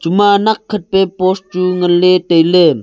ema nakhen pey post chu ngan ley tailey.